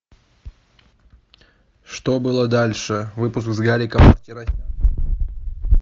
что было дальше выпуск с гариком мартиросяном